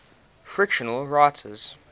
fictional writers